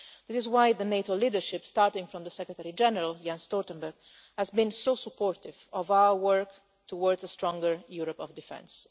This is why the NATO leadership, starting from the Secretary-General, Jens Stoltenberg, has been so supportive of our work towards a stronger Europe of Defence.